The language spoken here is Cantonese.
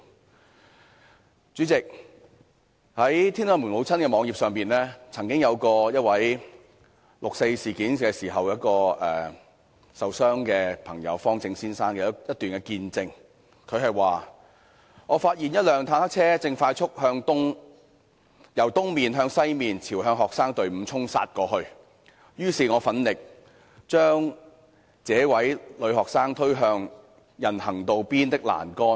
代理主席，在"天安門母親"的網頁上，曾經有一位在六四事件中受傷的朋友——方政先生——發表他的一段見證："我發現一輛坦克車正快速由東面向西面朝向學生隊伍衝殺過來，於是我奮力把這位女學生推向人行道邊的欄杆。